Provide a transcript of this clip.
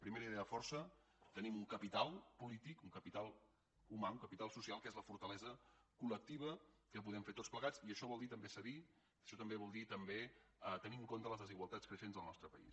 primera idea força tenim un capital polític un capital humà un capital social que és la fortalesa col·lectiva que podem fer tots plegats i això vol dir també cedir això vol dir també tenir en compte les desigualtats creixents del nostre país